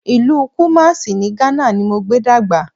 Ìlú Kùmásí ní Ghana ni mo gbé dàgbà